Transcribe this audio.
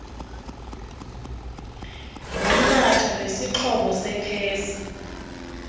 ngomnatha nesixhobo sephesi